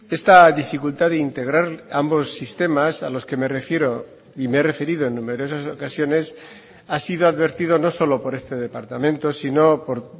esta dificultad de integrar ambos sistemas a los que me refiero y me he referido en numerosas ocasiones ha sido advertido no solo por este departamento sino por